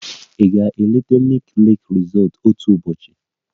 Ị ga-eleta Nike lake resort otu ụbọchị?